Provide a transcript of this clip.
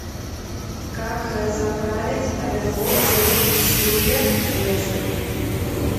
как заправить оверлок силвер крест